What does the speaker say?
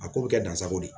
A ko bɛ kɛ dansago de ye